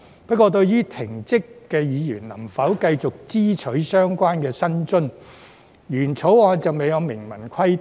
不過，對於被停職議員能否繼續支取相關議員薪津，原草案就未有明文規定。